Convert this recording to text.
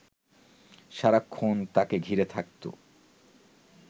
সারাক্ষণ তাঁকে ঘিরে থাকত